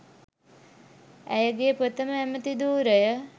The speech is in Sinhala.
ඇයගේ ප්‍රථම ඇමති ධූරය